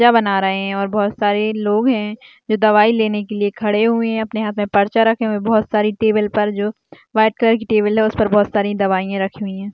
जा बना रहे है और बोहोत सारे लोग है जो दवाई लेने के लिए खड़े हुए है अपने हाथ में पर्चा रखे हुए बोहोत सारी टेबल पर जो वाइट कलर की टेबल है उसपे बोहोत सारी दवाईयां रखी हुई है।